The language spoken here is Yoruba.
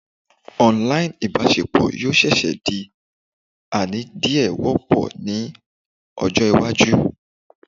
online ibaṣepọ yoo seese di ani diẹ wopo ni ojo iwaju